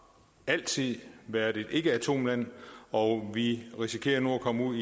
altid været et ikkeatomland og vi risikerer nu at komme ud